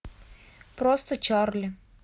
просто чарли